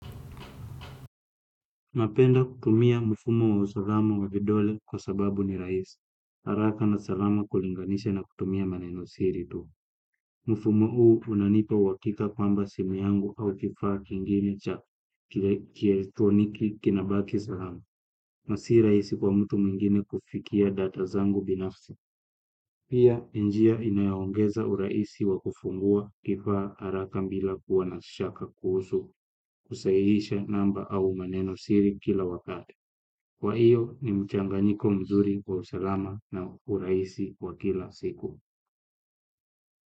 Napenda kutumia mfumo wa usalama wa vidole kwa sababu ni raisi. Haraka na salama kulinganisha na kutumia maneno siri tu. Mfumo huu unanipa uwakika kwamba simu yangu au kifaa kinginine cha kielitoniki kinabaki salama. Nasi i raisi kwa mtu mwingine kufikia data zangu binafsi. Pia njia inayaongeza uraisi wa kufungua kifaa haraka mbila kuwa na shaka kuhusu kusahihisha namba au maneno siri kila wakati. Kwa hiyo ni mchanganyiko mzuri wa usalama na uraisi wa kila siku.